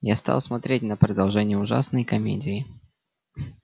я стал смотреть на продолжение ужасной комедии